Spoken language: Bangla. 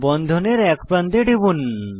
বন্ধনের এক প্রান্তে টিপুন